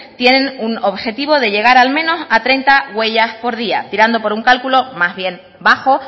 tienen un objetivo de llegar al menos a treinta huellas por día tirando por un cálculo más bien bajo